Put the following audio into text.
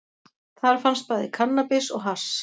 Þar fannst bæði kannabis og hass